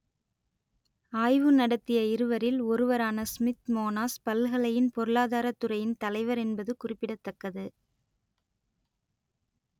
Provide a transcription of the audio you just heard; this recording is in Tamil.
ஆய்வு நடத்திய இருவரில் ஒருவரான ஸ்மித் மோனாஸ் பல்கலையின் பொருளாதாரத் துறையின் தலைவர் என்பது குறிப்பிடத்தக்கது